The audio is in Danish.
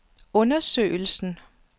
undersøgelsen